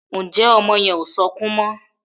Njé ọmọ yen o sọkún mo?